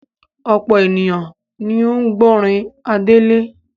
Ọ̀pọ̀ ènìyàn ni ó ń gbọ́rin Adele.